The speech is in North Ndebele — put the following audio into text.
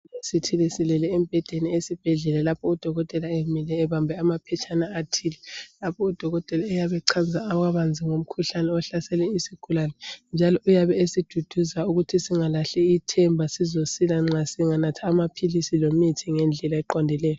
Isigulane sithe silele esibhedlela lapho udokotela emile ebambe amaphetshana lapho udokotela oyabe echaza kabanzi ngomkhuhlane ohlasele isigulane njalo uyabe esiduduza ukuthi singalahli ithemba sizasila nxa singanatha amaphilisi lemithi ngedlela eqondileyo.